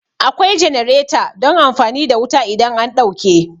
Akwai jenareta don amfani da wuta idan an ɗauke